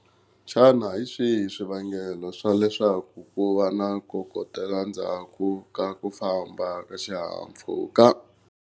Xana hi swihi swivangelo swa leswaku ku va na ku kokotela ndzhaku ka ku famba ka xihahampfhuka?